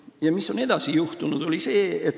Ja mis edasi juhtus?